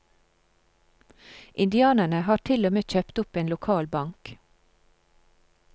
Indianerne har til og med kjøpt opp en lokal bank.